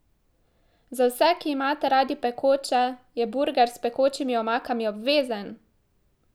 Za vse, ki imate radi pekoče, je burger s pekočimi omakami obvezen!